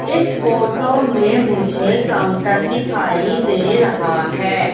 इस फोटो में मुझे काउंटर दिखाई दे रहा है।